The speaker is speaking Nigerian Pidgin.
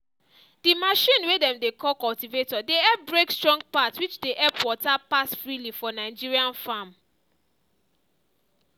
the machine way dem dey call cultivator dey help break strong part which dey help water pass freely for nigerian farm.